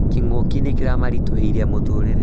Kĩng'ũki nĩkĩmaritũhĩirie mũtũrĩre